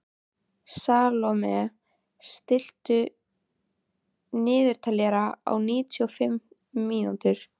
Salome, stilltu niðurteljara á níutíu og fimm mínútur.